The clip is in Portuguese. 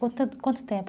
Quanto tempo?